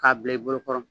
K'a bila i bolokɔrɔ